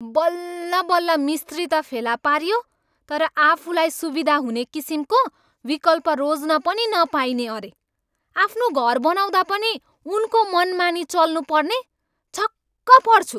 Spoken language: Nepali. बल्लबल्ल मिस्त्री त फेला पारियो, तर आफूलाई सुविधा हुने किसिमको विकल्प रोज्न पनि नपाइने अरे! आफ्नो घर बनाउँदा पनि उनको मनमानीमा चल्नु पर्ने! छक्क पर्छु।